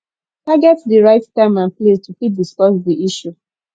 target di right time and place to fit discuss di issue